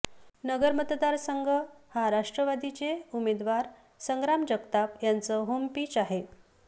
नगर मतदारसंघ हा राष्ट्रवादीचे उमेदवार संग्राम जगताप यांचं होमपिच आहे